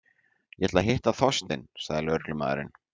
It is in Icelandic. Ég ætlaði að hitta Þorstein- sagði lögreglumaðurinn.